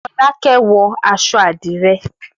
Fọlákẹ́ wọ aṣọ àdìrẹ́.